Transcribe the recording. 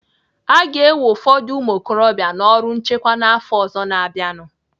Aga ewe ụfọdụ ụmụokorobịa n'ọrụ nchekwa n'afọ ọzọ na-abịanụ.